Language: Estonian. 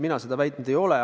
Mina seda väitnud ei ole.